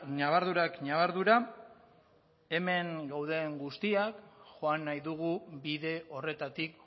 ñabardurak ñabardura hemen gauden guztiak joan nahi dugu bide horretatik